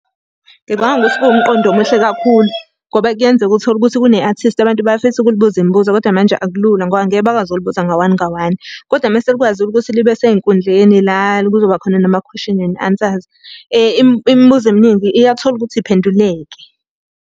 Ngicabanga ukuthi kuwumqondo omuhle kakhulu, ngoba kuyenzeka uthole ukuthi kune-athisti abantu bayafisa ukulibuza imibuzo kodwa manje akulula ngoba ngeke bakwazi ukulibuza nga one nga one. Kodwa uma selikwazile'ukuthi libe sey'nkundleni la kuzoba khona namakhweshini and ansazi. Imibuzo eminingi iyathola ukuthi iphenduleke.